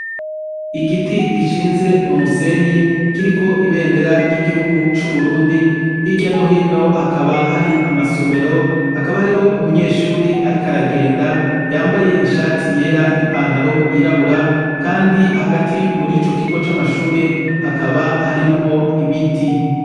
Igiti gishinze m'umusenyi kiriko ibendera ry'Igihugu c'Uburundi hirya nohino hakaba hari amasomero hakaba hariho umunyeshure ariko aragenda yambaye ishati yera n'ipantaro yirabura kandi hagati muricokigo c'amashuri hakaba harimwo ibiti.